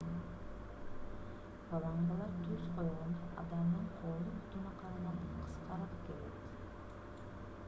фалангалар түз койгондо адамдын колу бутуна караганда кыскараак келет